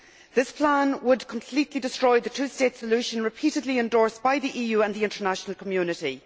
This plan would completely destroy the two state solution repeatedly endorsed by the EU and the international community.